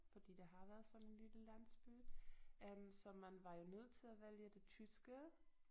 Fordi det har været sådan en lille landsby øh så man var jo nødt til at vælge det tyske